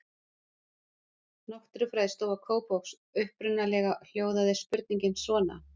Náttúrufræðistofa Kópavogs Upprunalega hljóðaði spurningin svona: